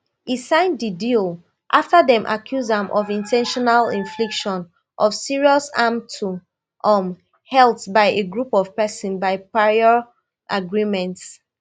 e sign di deal afta dem accuse am of in ten tional infliction of serious harm to um health by a group of persons by prior agreement